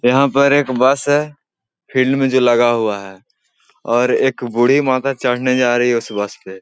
यहाँ पर एक बस है फील्ड में जो लगा हुआ है और एक बूढ़ी माता चढ़ने जा रही हैं उस बस पे।